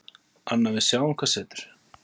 Anna: Við sjáum hvað setur.